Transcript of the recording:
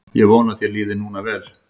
Ég vona að þér líði núna vel.